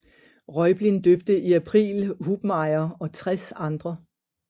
Reublin døbte i april Hubmaier og tres andre